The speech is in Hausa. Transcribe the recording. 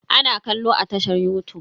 Ana kallo a tashar yutub.